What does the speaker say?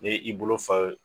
Ne i bolo fa ye